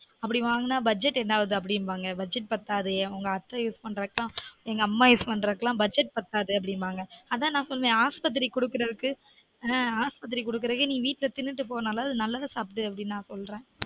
அப்டி வாங்குனா budget என்னாவது அப்டிந்பாங்க budget பத்தாதே எங்க அத்த use பண்றதுக்கு எல்லான் எங்க அம்மா use பண்றதுக்கு எல்லான் budget பத்தாது அப்டீம்பாங்க அதான் நான் சொன்னன் ஆஸ்பத்திரிக்கு குடுக்குறதுக்கு ஆன் ஆஸ்பத்திரிக்கு குடுக்குறதுக்கு நீ வீட்ல திண்ணுட்டு போனாலாவ்து நல்லது சாப்டுனு நான் சொல்றன்